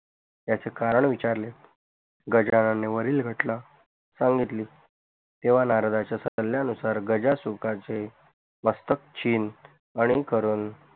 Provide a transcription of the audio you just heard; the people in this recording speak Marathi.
याच कारण विचारले गजानन ने वरील घटना सांगितली तेव्हा नारदाच्या सल्यानुसार गजासुखाचे मस्तक छिन्न आणि करून